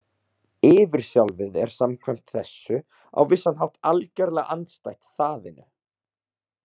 Yfirsjálfið er samkvæmt þessu á vissan hátt algerlega andstætt þaðinu.